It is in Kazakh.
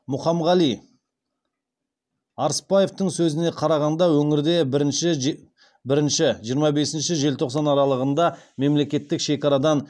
мұқамғали арыспаевтың сөзіне қарағанда өңірде бірінші жиырма бесінші желтоқсан аралығында мемлекеттік шекарадан